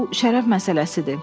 Bu şərəf məsələsidir.